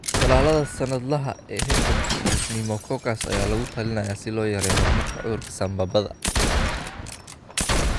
Tallaalada sannadlaha ah ee hargabka iyo pneumococcus ayaa lagula talinayaa si loo yareeyo horumarka cudurka sambabada.